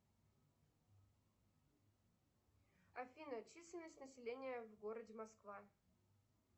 афина численность населения в городе москва